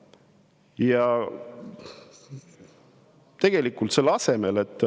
Ja tegelikult selle asemel, et …